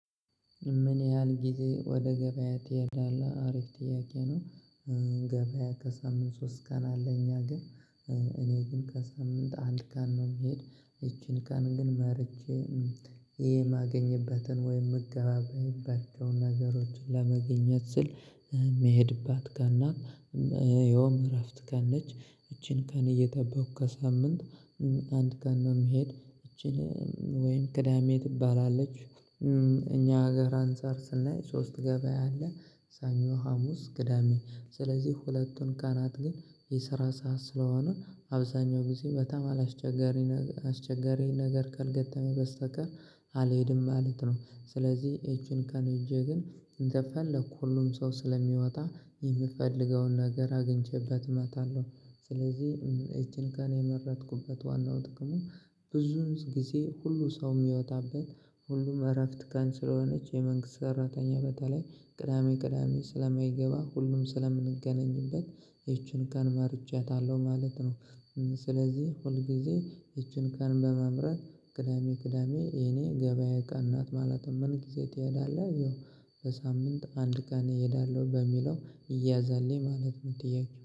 ምን ያህል ጊዜ ወደ ገበያ ትሄዳለህ አሪፍ ጥያቄ ነው? ገበያ ከሳምንት ሶስት ቀን አለ እኛ አገር። እኔ ግን ከሳምንት አንድ ቀን ነው የምሄድ። ይቺን ቀን ግን መርጬ የማገኝበትን ወይም ምገባባያቸውን ነገሮችን ለማግኘት ስል ባትካና የእረፍት ቀን ነች። እቺን ቀን እየጠበቁ ከሳምንት አንድ ቀን መሄድ ይቺን ወይም ቅዳሜ ትባላለች። እኛ ሀገር አንፃር ስናይ ሶስት ገበያ አለ ሰኞ ሀሙስ ቅዳሜ ስለዚህ ሁለቱን ቀናት ግን የስራ ሰዓት ስለሆኑ አብዛኛው ጊዜ በጣም አስቸጋሪ ነገር ካልገጠመ በስተቀር አልሄድም ማለት ነው። ስለዚህ እቺን ቀን ሄጄ ግን እንደፈለኩ ሁሉም ሰው ስለሚወጣ የምፈልገውን ነገር አግኝቼበት እመጣለሁ። ስለዚህ እቺን ቀን የመረጥኩበት ዋናው ጥቅሙ ብዙ ጊዜ ሁሉ ሰው የሚወጣበት ሁሉም እረፍት ቀን ስለሆነች የመንግስት ጠራተኛ በተለይ ቅዳሜ ቅዳሜ ስለማይገባ ሁሉም ስለምንገናኝበት ይቺን ቀን መርጫታለሁ ማለት ነው። ስለዚህ ሁል ጊዜ ይቺን ቀን በመምረጥ ቅዳሜ ቅዳሜ የኔ ገበያ ቀን ናት። ማለትም ምን ጊዜ ትሄዳለህ? አየው በሳምንት አንድ ቀን እሄዳለሁ በሚለው ይያዝልኝ ማለት ነው። ጥያቄው